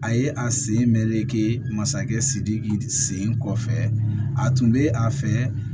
A ye a sen mɛreke masakɛ sidiki sen kɔfɛ a tun bɛ a fɛ